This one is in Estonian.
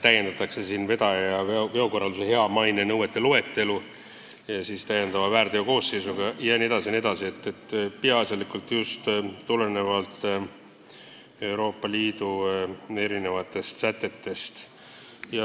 Vedaja ja veokorraldusjuhi hea maine nõuete loetelu täiendatakse ühe väärteokoosseisuga jne, mis tuleneb peaasjalikult Euroopa Liidu õigusaktidest.